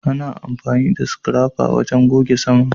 Ana amfani da Scrapper wajen goge saman